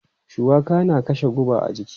Shuwaka na kashe guba a jiki.